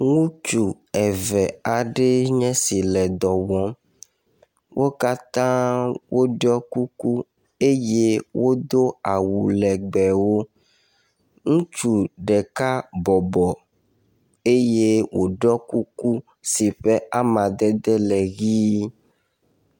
Ŋutsu eve aɖe nye si le dɔ wɔm. Wo katã woɖɔi kuku eye wodo awu legbewo. Ŋutsu ɖeka bɔbɔ eye wòɖɔ kuku si ƒe amadede le ʋie.